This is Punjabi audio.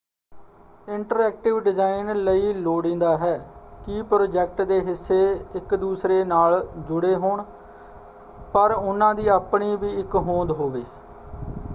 ਇੰਟਰਐਕਟਿਵ ਡਿਜ਼ਾਇਨ ਲਈ ਲੋੜੀਂਦਾ ਹੈ ਕਿ ਪ੍ਰੋਜੈਕਟ ਦੇ ਹਿੱਸੇ ਇੱਕ ਦੂਸਰੇ ਨਾਲ ਜੁੜੇ ਹੋਣ ਪਰ ਉਹਨਾਂ ਦੀ ਆਪਣੀ ਵੀ ਇੱਕ ਹੋਂਦ ਹੋਵੇ।